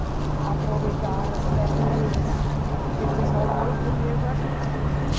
A aproveitar as verduras, porque o pessoal não comia verdura, né?